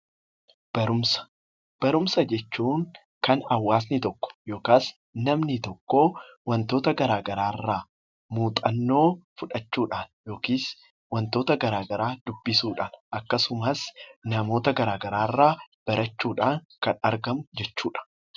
Barumsa Barumsa jechuun kan Hawaasni tokko yookaas namni tokko wantoota garaa garaa irraa muuxannoo fudhachuu dhaan yookiis wantoota garaa garaa dubbisuu dhaan akkasumas namoota garaa garaa irraa barachuu dhaan kan argamu jechuu dha.